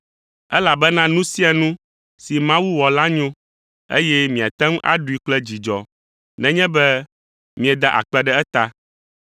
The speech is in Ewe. Elabena nu sia nu si Mawu wɔ la nyo, eye miate ŋu aɖui kple dzidzɔ nenye be mieda akpe ɖe eta,